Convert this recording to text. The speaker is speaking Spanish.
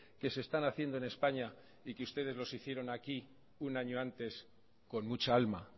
que se están haciendo en españa y que ustedes los hicieron aquí un año antes con mucha alma